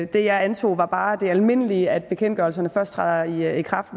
det jeg antog var bare det almindelige at bekendtgørelserne først træder i i kraft